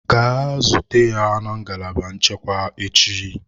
Gaa zute ya na ngalaba nchekwa echi!